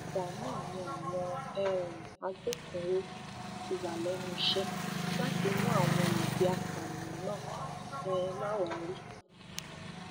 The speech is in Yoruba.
látìgbà náà ni àwọn um agbófinró ti wà lẹnu iṣẹ láti wá àwọn olubi apààyàn náà um láwárí